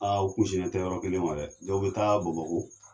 Aa u kun sinnen tɛ yɔrɔ kelen ma dɛ ! Dɔw be taa bamako